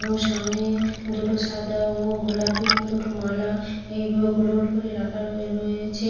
এবং সামনে দুটো সাদা ও গোলাপী রঙের দুটো মালা এইভাবে গোল গোল করে রাখার র-- রয়েছে।